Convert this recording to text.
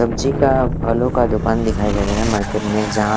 सब्जी का फलों का दुकान दिखाई दे रहा है मार्केट में यहाँ--